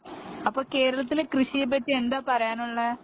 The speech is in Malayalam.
അപ്പൊ കേരളത്തിലെ കൃഷിയെപ്പറ്റി എന്താ പറയാനുള്ളേ